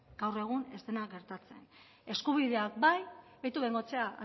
begira bengoechea